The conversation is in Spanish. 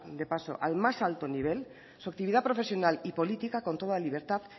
de paso al más alto nivel su actividad profesional y política con toda libertad